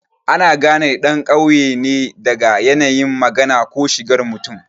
Ana gane ɗan ƙauye daga yanayin magana ko shigar mutum.